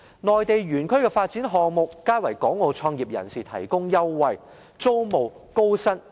內地園區的發展項目皆為港澳創業人提供優惠，例如租務、薪酬等。